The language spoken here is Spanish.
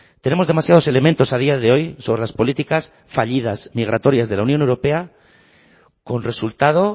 tenemos demasiados elementos a día de hoy sobre las políticas fallidas migratorias de la unión europea con resultado